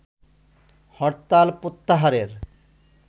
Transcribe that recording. হরতাল প্রত্যাহারের